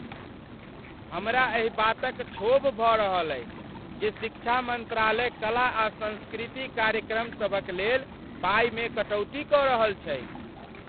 हमरा एहि बातक क्षोभ भऽ रहल अछि जे शिक्षा मन्त्रालय कला आ संस्कृति कार्यक्रम सभक लेल पाइमे कटौती कऽ रहल छैक।